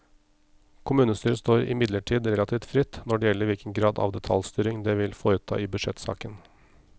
Kommunestyret står imidlertid relativt fritt når det gjelder hvilken grad av detaljstyring det vil foreta i budsjettsaken.